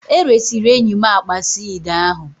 E resịrị enyi m akpa suede ahụ